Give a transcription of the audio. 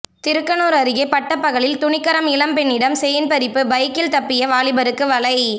திருக்கனூர் அருகே பட்டப்பகலில் துணிகரம் இளம்பெண்ணிடம் செயின் பறிப்பு பைக்கில் தப்பிய வாலிபருக்கு வலை